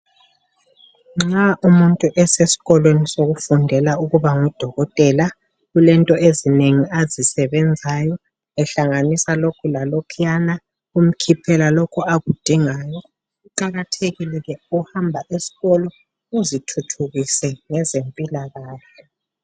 Nxa umuntu eseskolweni sokufundela ukuba ngudokotela kulento ezinengi azisebenzayo, ehlanganisa lokhu lalokhuyana kumkhiphela lokho akudingayo. Kuqakathekile ke ukuhamba eskolo uzithuthukise ngezempilakahle.